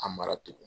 A mara tugun